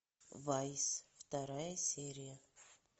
вайс вторая серия